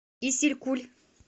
исилькуль